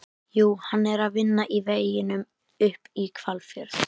Jú, hann var að vinna í veginum upp í Hvalfjörð.